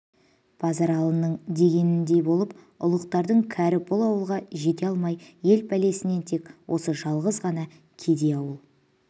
базаралының дегеніндей болып ұлықтардың кәрі бұл ауылға жете алмай ел пәлесінен тек осы жалғыз ғана келей ауыл